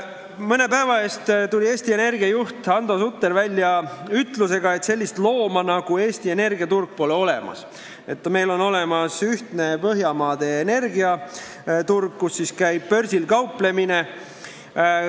Mõne päeva eest tuli Eesti Energia juht Hando Sutter välja ütlemisega, et sellist looma nagu Eesti energiaturg pole olemas, on olemas ühtne Põhjamaade energiaturg, kus käib börsil kauplemine.